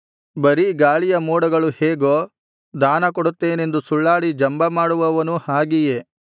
ಬರೀ ಗಾಳಿಯ ಮೋಡಗಳು ಹೇಗೋ ದಾನಕೊಡುತ್ತೇನೆಂದು ಸುಳ್ಳಾಡಿ ಜಂಬಮಾಡುವವನೂ ಹಾಗೆಯೇ